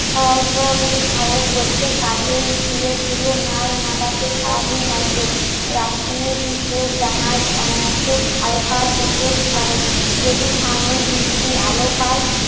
গোছের কাজেই ধীরে ধীরে মাল নাবাতে সারাদিন লাগবে রাত্রি, ভিতে, জাহাজ অনায়াসে হালকা হতে পারে যদি সামনে বিক্রি আলো পায়